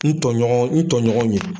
N tɔɲɔgɔn n tɔɲɔgɔn ɲe